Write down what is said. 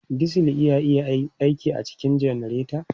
Diesel na iya aiki a cikin janareta.